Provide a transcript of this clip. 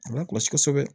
A bɛ kɔlɔsi kosɛbɛ